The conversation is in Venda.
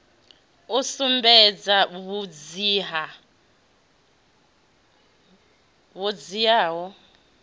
u sumbedza vhudzivha ho dziaho